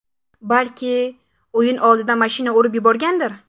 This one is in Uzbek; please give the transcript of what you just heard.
Balki, o‘yin oldidan mashina urib yuborgandir?